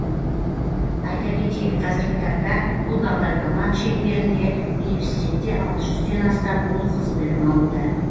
айта кетейік қазіргі таңда бұл бағдарлама шеңберінде университетте алты жүзден астам ұл қыз білім алуда